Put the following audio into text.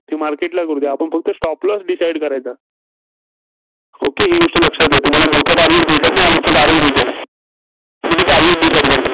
ते market ला करू द्या. आपण फक्त Stop loss decide करायचा. okay ही गोष्ट लक्षात घ्या. तुम्हाला मोठं target भेटत नाही.